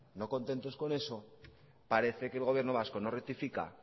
no contentos con eso parece que el gobierno vasco no rectifica